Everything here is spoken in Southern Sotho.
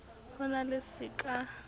ho na le se ka